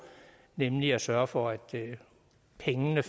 nemlig at sørge for at pengene